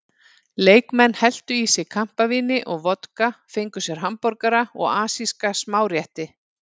Leikmenn helltu í sig kampavíni og vodka, fengu sér hamborgara og asíska smárétti.